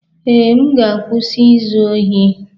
Ee, m ga-akwụsị izu ohi